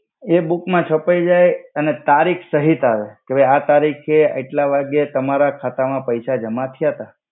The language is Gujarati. એ બુક મા છપાઇ જાઈ અને તારિખ સહિત આવે કે ભઈ આ તારિખે આયટ્લા વાગે તમારા ખાતા મા પૈસા જમા થયા તા.